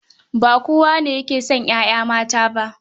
Ba kowa ne yake son 'ya'ya mata ba.